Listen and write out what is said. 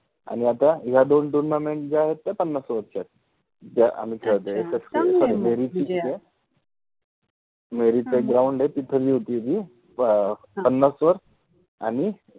आणि आता या दोन tournament ज्या आहेत त्या पन्नास ओवरच्या आहेत, ज्या आम्हि खेळतोय, अच्छा चांगल आहे मग ते, मेरित एक ground आहे तिथे होते ति पन्नास ओवर आणि